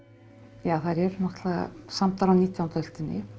já þær eru náttúrulega samdar á nítjándu öldinni